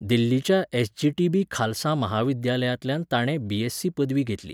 दिल्लीच्या एसजीटीबी खालसा महाविद्यालयांतल्यान ताणें बीएससी पदवी घेतली.